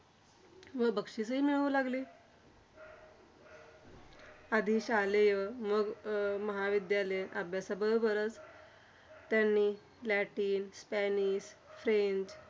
व बक्षिसंहि मिळू लागली. आधी शालेय मग अं महाविद्यालयीन अभ्यासाबरोबरच त्यांनी लॅटिन, स्पॅनिश, स्पेन